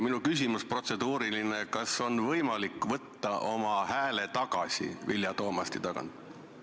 Minu protseduuriline küsimus on, kas on võimalik oma hääl Vilja Toomasti toetuse tagant ära võtta.